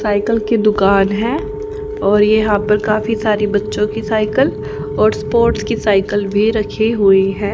Cycle की दुकान है और यहां पर काफी सारी बच्चों की साइकिल और स्पोर्टस साइकिल रखी हुई है।